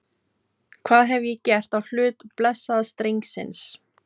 Hvað hef ég gert á hlut blessaðs drengsins?